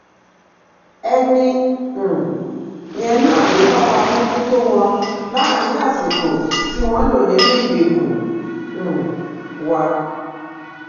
ẹni um yẹn náà ló bá wa mójútó wọn láàrin àsìkò tí wọn lò nínú ìgbèkùn um wa